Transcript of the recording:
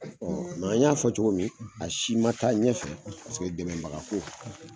an y'a fɔ cogo min, a si ma taa ɲɛfɛ paseke dɛmɛbagako